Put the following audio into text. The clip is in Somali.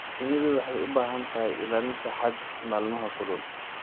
Shinnidu waxay u baahan tahay ilaalinta hadh maalmaha kulul.